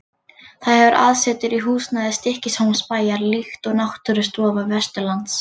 Það hefur aðsetur í húsnæði Stykkishólmsbæjar, líkt og Náttúrustofa Vesturlands.